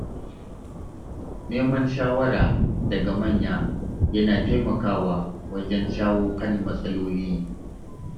Neman shawara daga manya yana taimakawa wajen shawo kan matsaloli.